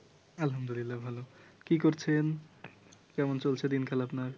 আলহামদুলিল্লাহ ভালো কি করছেন? কেমন চলছে দিনকাল আপনার?